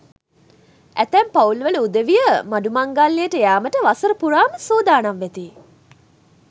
ඇතැම් පවුල් වල උදවිය මඩු මංගල්‍යයට යාමට වසර පුරාම සූදානම් වෙති.